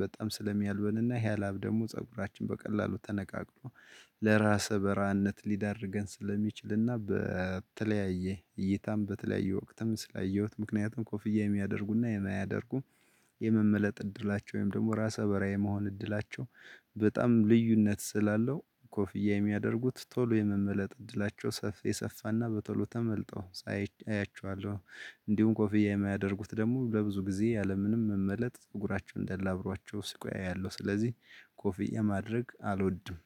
በጣም ስለሚያልበንና ይሄ ላብ ደግሞ ፀጉራችን በቀላሉ ተነቃቅሎ ለራስ በራነት ሊዳርገን ስለሚችልና በተለያየ እይታም በተለያየ ወቅትም ስላየሁት። ምክንያቱም ኮፍያ የሚያደርጉና የማያደርጉ የመመለጥ እድላቸው ወይም ደግሞ ራሰ በራ የመሆን እድላቸው በጣም ልዩነት ስላለው። ኮፍያ የሚያደርጉት ቶሎ የመመለጥ እድላቸው ሰፊ የሰፋና በቶሎ ተመልጠው ሳይ አያችኋለሁ። እንዲሁም ኮፍያ የማያደርጉት ደግሞ ለብዙ ጊዜ ያለምንም መመለጥ ጸጉራቸውን እንዳለ አብሯቸው ሲቆይ አያያለው። ስለዚህ ኮፊያ ማድረግ አልወድም።